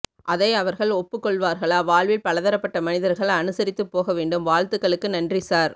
அதை அவர்கள் ஒப்புக்கொள்வார்களாவாழ்வில் பலதரப்பட்ட மனிதர்கள் அனுசரித்துப் போகவேண்டும் வாழ்த்துகளுக்கு நன்றி சார்